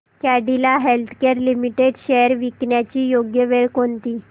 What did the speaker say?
Cadila healthcare limited shares विकण्याची योग्य वेळ कोणती